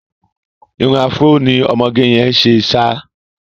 Irun afro ni ọmọge yẹn ṣe ṣá.